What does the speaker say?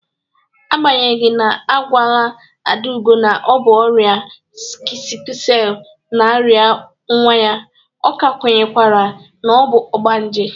Agbanyeghi na agwala Adaugo na ọ bụ ọrịa sikul selu na-arịa nwa ya, ọ ka kwenyekwara na ọ bụ ọgbanje.